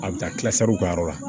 A bɛ taa tila u ka yɔrɔ la